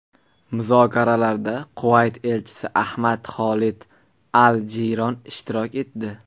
Muzokaralarda Kuvayt elchisi Ahmad Xolid al-Jiyron ishtirok etdi.